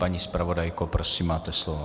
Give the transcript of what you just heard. Paní zpravodajko, prosím, máte slovo.